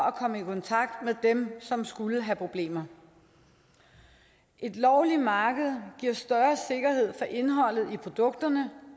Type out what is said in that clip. at komme i kontakt med dem som skulle have problemer et lovligt marked giver større sikkerhed for indholdet i produkterne